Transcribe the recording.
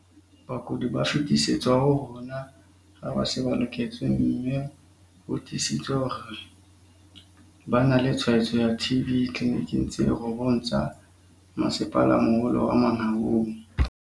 "Bakudi ba fetisetswa ho rona ha ba se ba lekotswe mme ho tiisitswe hore ba na le tshwaetso ya TB ditleliniking tse robong tsa Masepalamoholo wa Mangaung".